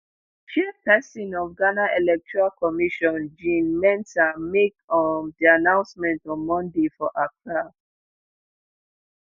chairpesin of ghana electoral commission jean mensa make um di announcement on monday for accra.